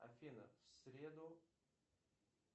афина в среду